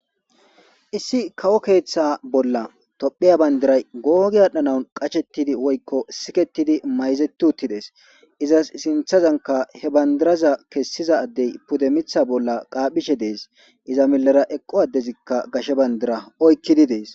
Issi kawo keeththa bolla tophiya bandiray googi adhdhanaun qachettidi woykko siketidi mayzeti uttides izas sinthazanka he bandiraza kessiza addey pude mitha bolla qaaphishe dees iza milera eqqo addezikka gashe bandira oykkidi dees.